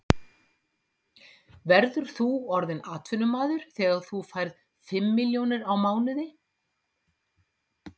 Verður þú orðinn atvinnumaður þegar þú fær fimm milljónir á mánuði?